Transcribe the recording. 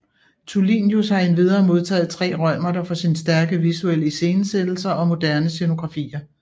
Tulinius har envidere modtaget tre Reumerter for sine stærke visuelle iscenesættelser og moderne scenografier